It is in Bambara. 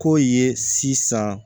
K'o ye sisan